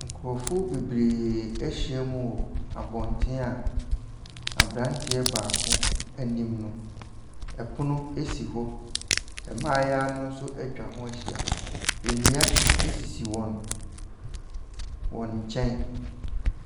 Nkorɔfoɔ bebree ahyia mu wɔ abonten a, aberanteɛ baako anim no ɛpono si hɔ. Mmaayewa no nso ɛtwa hɔ akyia. Nnua esisi wɔn wɔn kyɛn.